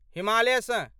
हिमालयसँ